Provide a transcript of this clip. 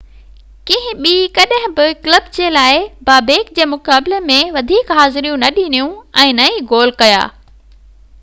ڪنهن ٻي ڪڏهن بہ ڪلب جي لاءِ بابيڪ جي مقابلي ۾ وڌيڪ حاضريون نہ ڏنيون ۽ نه ئي گول ڪيا